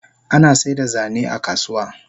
Ana saida zane a kasuwa